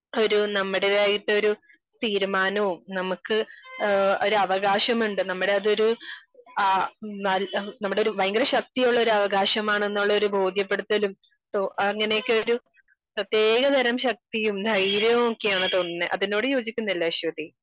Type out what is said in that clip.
ഒരു നമ്മുടേതായിട്ട് ഒരു തീരുമാനോം നമുക്ക് ഒരു ആകാശം ഉണ്ട് നമ്മുടെ അതൊരു ആ നമ്മുടെയൊരു ഭയങ്കര ശക്തിയുള്ള അവകാശമാണെന്നുള്ള ബോധ്യപ്പെടുത്തലും അങ്ങനെ ഒക്കെ ഒരു പ്രത്യേക തരം ശക്തിയും ധൈര്യവും ഒക്കെ ആണ് തോന്നുന്നേ. അതിനോട് യോജിക്കുന്നില്ലേ അശ്വതി